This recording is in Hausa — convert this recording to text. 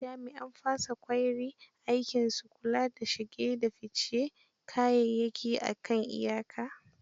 Jami'an fasa ƙwayri aikinsu kula da shige da ficen kayayyayki a kan iyaka.